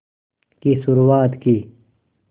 की शुरुआत की